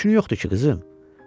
Nəşünü yoxdu ki, qızım.